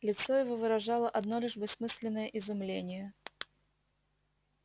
лицо его выражало одно лишь бессмысленное изумление